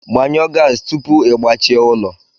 Gbanyụọ gaasị tupu ị gbachie ụlọ!